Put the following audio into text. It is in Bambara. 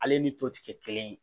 Ale ni toti kɛ kelen ye